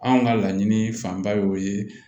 Anw ka laɲini fanba y'o ye